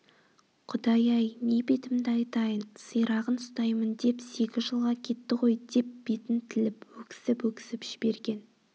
құдай-ай не бетімді айтайын сирағын ұстаймын деп сегіз жылға кетті ғой деп бетін тіліп өксіп-өксіп жіберген